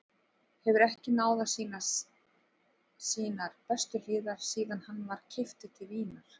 Hefur ekki náð að sýna sínar bestu hliðar síðan hann var keyptur til Vínar.